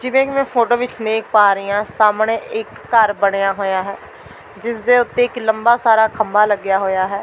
ਜਿਵੇਂ ਕਿ ਮੈਂ ਫੋਟੋ ਵਿਚ ਦੇਖ ਪਾ ਰਹੀਂ ਹਾਂ ਸਾਹਮਣੇ ਇੱਕ ਘਰ ਬਣਿਆ ਹੋਇਆ ਹੈ ਜਿਸ ਦੇ ਉੱਤੇ ਇੱਕ ਲੰਬਾ ਸਾਰਾ ਖੰਭਾ ਲੱਗਿਆ ਹੋਇਆ ਹੈ।